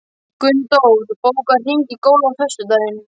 Gunndór, bókaðu hring í golf á föstudaginn.